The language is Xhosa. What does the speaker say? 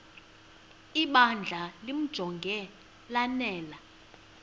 ibandla limjonge lanele